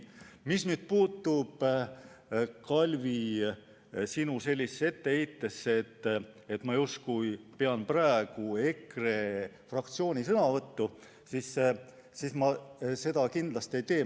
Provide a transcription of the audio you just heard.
Mis puudutab, Kalvi, sinu etteheidet, et ma justkui pean praegu EKRE fraktsiooni sõnavõttu, siis seda ma kindlasti ei tee.